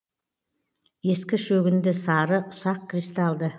ескі шөгінді сары ұсақ кристалды